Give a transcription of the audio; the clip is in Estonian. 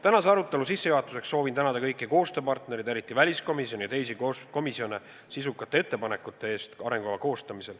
Tänase arutelu sissejuhatuseks soovin tänada kõiki koostööpartnereid, eriti väliskomisjoni ja teisi komisjone sisukate arutelude ja ettepanekute eest Eesti välispoliitika arengukava koostamisel.